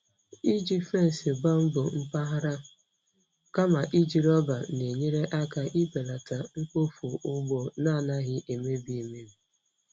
Iji fence bamboo mpaghara kama iji rọba na-enyere aka ibelata mkpofu ugbo na-anaghị emebi emebi.